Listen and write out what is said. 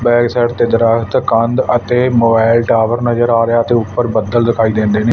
Backside ਤੇ ਦਰਖਤ ਕੰਧ ਅਤੇ ਮੋਬਾਈਲ ਟਾਵਰ ਨਜ਼ਰ ਆ ਰਿਹਾ ਤੇ ਉੱਪਰ ਬੱਦਲ ਦਿਖਾਈ ਦਿੰਦੇ ਨੇਂ।